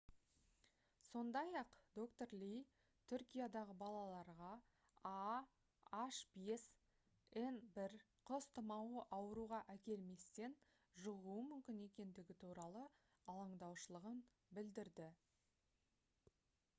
сондай-ақ д-р ли түркиядағы балаларға ah5n1 құс тұмауы ауруға әкелместен жұғуы мүмкін екендігі туралы алаңдаушылығын білдірді